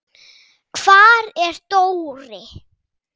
Hvar er Dóri?